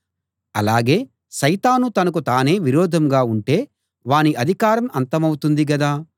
అలాగే సైతాను తనకు తానే విరోధంగా ఉంటే వాని అధికారం అంతమౌతుంది గదా